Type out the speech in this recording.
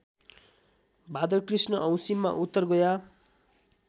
भाद्रकृष्ण औँसीमा उत्तरगया